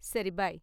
சரி, பைய்.